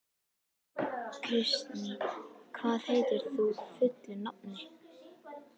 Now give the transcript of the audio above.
Kristný, hvað heitir þú fullu nafni?